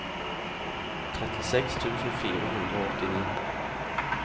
trettiseks tusen fire hundre og åttini